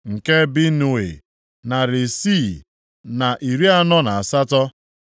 nke Binui, narị isii na iri anọ na asatọ (648),